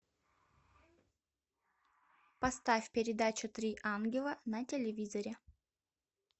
поставь передачу три ангела на телевизоре